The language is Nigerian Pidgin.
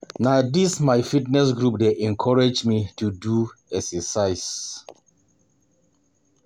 Na dis my fitness group dey encourage me to dey do exercise.